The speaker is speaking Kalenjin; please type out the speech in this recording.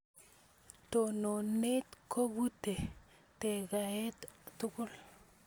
Tononet kobute tekgaet tugul